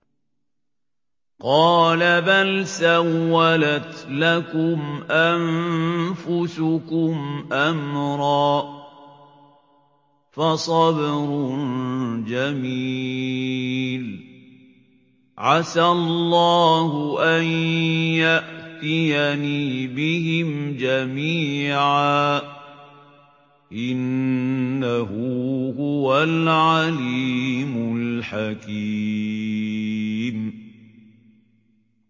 قَالَ بَلْ سَوَّلَتْ لَكُمْ أَنفُسُكُمْ أَمْرًا ۖ فَصَبْرٌ جَمِيلٌ ۖ عَسَى اللَّهُ أَن يَأْتِيَنِي بِهِمْ جَمِيعًا ۚ إِنَّهُ هُوَ الْعَلِيمُ الْحَكِيمُ